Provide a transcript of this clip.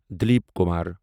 Dilip Kumar